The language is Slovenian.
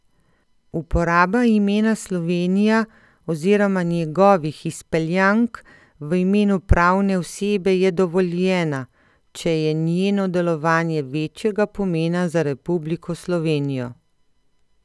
Uporaba imena Slovenija oziroma njegovih izpeljank v imenu pravne osebe je dovoljena, če je njeno delovanje večjega pomena za Republiko Slovenijo.